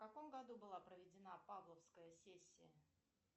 в каком году была проведена павловская сессия